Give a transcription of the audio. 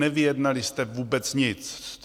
Nevyjednali jste vůbec nic!